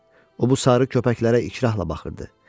O bu sarı köpəklərə ikrahla baxırdı.